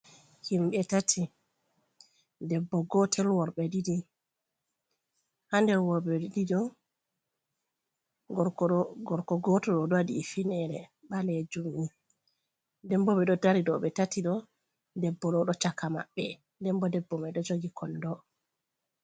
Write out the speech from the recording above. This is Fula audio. Himɓɓe tati debbo gotel worɓe ɗiɗi, ha nder worɓe ɗiɗi ɗo gorko gotel ɗo waɗi hufinere ɓalejum ni, den bo ɓe ɗo dari dou ɓe tati ɗo, debbo ɗo ɗo chaka maɓɓe, debbo debbo me ɗo jogi kondo.